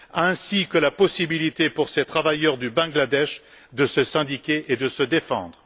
ainsi que la possibilité, pour ces travailleurs du Bangladesh, de se syndiquer et de se défendre.